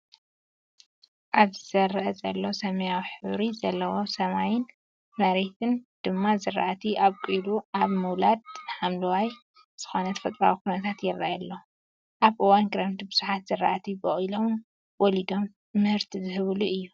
ኣብዚ ዝርኣ ዘሎ ሰማያዊ ሕብሪ ዘለዎ ሰማይን መሬት ድማ ዝራእቲ ኣብቁላ ኣብ ምውላድ ሓምለዋይ ዝኮነ ተፈጥራዊ ኩነታት ይረኣየና ኣሎ። ኣብ እዋን ክረምቲ ብዙሓት ዝራእቲ በቁሎም ወሊዶም ምህርቲ ዝህብሉ እዩ።